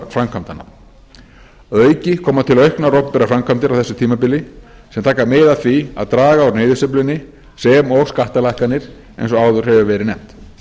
framkvæmdanna að auki koma til auknar opinberar framkvæmdir á þessu tímabili sem taka mið af því að draga úr niðursveiflunni sem og skattalækkanirnar eins og áður hefur verið nefnt